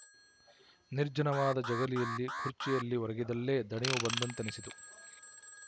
ನಿರ್ಜನವಾದ ಜಗಲಿಯಲ್ಲಿ ಖುರ್ಚಿಯಲ್ಲಿ ಒರಗಿದಲ್ಲೇ ದಣಿವು ಬಂದಂತೆನಿಸಿತು